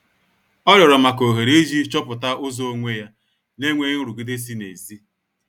Ọ rịorọ maka ohere iji chọpụta ụzọ onwe ya nenweghi nrụgide si nezi